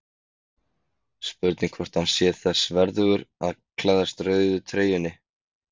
Spurning hvort hann sé þess verðugur að klæðast rauðu treyjunni?